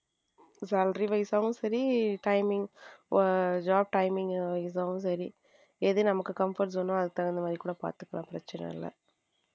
Salary wise சரி timing job timing இதாவும் சரி எது நமக்கு comfort zone அதுக்கு தகுந்த மாதிரி பாத்துக்கலாம் பிரச்சனை இல்ல.